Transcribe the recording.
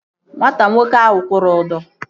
Nwata nwoke ahụ kwụrụ ụdọ